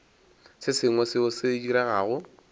se sengwe seo se diregago